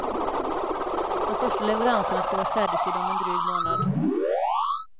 De första leveranserna ska vara färdigsydda om en dryg månad.